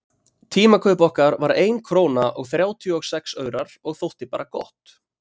Tímakaup okkar var ein króna og þrjátíu og sex aurar og þótti bara gott.